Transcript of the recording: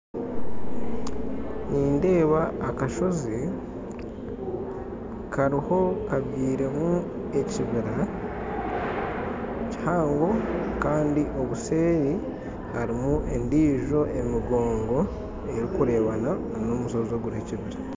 Nindeeba akashoozi kabyirwemu ekibiira kihango kandi obuseeri harimu endijo emigongo erikureebana n'omushoozi oguriho ekibiira